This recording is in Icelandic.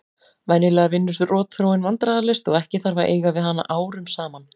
Venjulega vinnur rotþróin vandræðalaust og ekki þarf að eiga við hana árum saman.